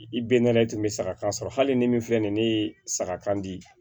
I bɛ ne la e tun bɛ saga kan sɔrɔ hali ni min filɛ nin ye ne ye saga kan di